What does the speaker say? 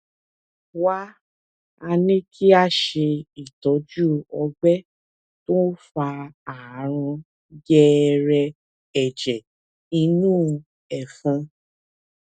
wá a ní kí a ṣe itọju ọgbẹ tó ń fa àrùn gẹrẹẹ ẹjẹ inú ẹfun